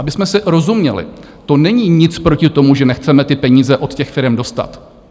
Abychom si rozuměli, to není nic proti tomu, že nechceme ty peníze od těch firem dostat.